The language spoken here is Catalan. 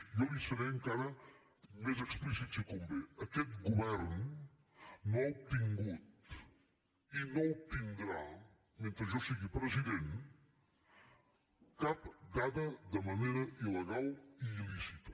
jo li seré encara més explícit si convé aquest govern no ha obtingut i no obtindrà mentre jo sigui president cap dada de manera il·legal i il·lícita